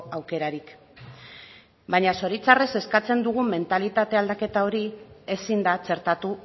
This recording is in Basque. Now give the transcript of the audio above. aukerarik baina zoritxarrez eskatzen dugun mentalitate aldaketa hori ezin da txertatu